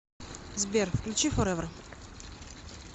сбер включи форевер